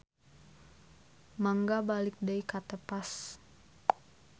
Mangga balik deui ka tepas.